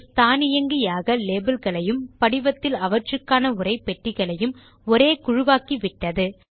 base தானியங்கியாக label களையும் படிவத்தில் அவற்றுக்கான உரைப்பெட்டிகளையும் ஒரே குழுவாக்கிவிட்டது